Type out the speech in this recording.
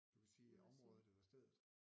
Du kan sige området eller stedet